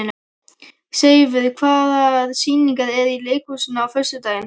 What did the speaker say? Seifur, hvaða sýningar eru í leikhúsinu á föstudaginn?